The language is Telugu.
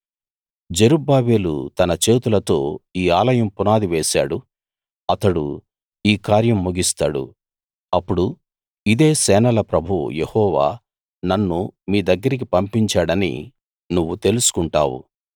జెరుబ్బాబెలు తన చేతులతో ఈ ఆలయం పునాది వేశాడు అతడు ఈ కార్యం ముగిస్తాడు అప్పుడు ఇదే సేనల ప్రభువు యెహోవా నన్ను మీ దగ్గరికి పంపించాడని నువ్వు తెలుసుకుంటావు